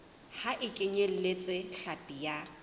ha e kenyeletse hlapi ya